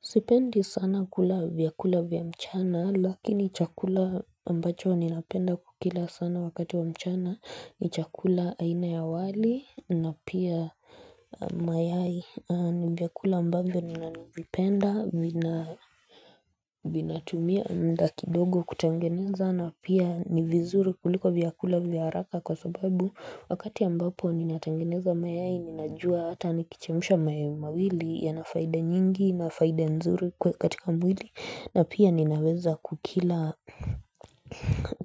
Sipendi sana kula vyakula vya mchana lakini chakula ambacho ninapenda kukila sana wakati wa mchana ni chakula aina ya wali na pia mayai ni vyakula ambayo ninanivipenda vina Vinatumia muda kidogo kutengeneza na pia ni vizuri kuliko vyakula vya haraka kwa sababu wakati ambapo ninatangeneza mayai ninajua hata nikichemsha mawili ya nafaida nyingi na faida nzuri katika mwili na pia ninaweza kukila